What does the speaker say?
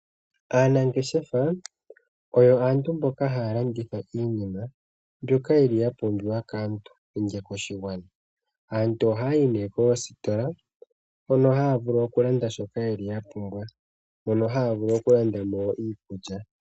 Aanangeshefa oyo aantu mboka haya landitha iinima ndjoka yoli yapumbiwa kaantu nenge koshigwana ,aantu oha yayi nee koositola hono haya vulu okulanda shoka yapumbwa, mono haya vulu okulandamo iikulya.